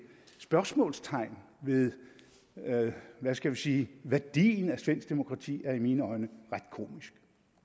spørgsmålstegn ved hvad skal vi sige værdien af svensk demokrati er i mine øjne ret komisk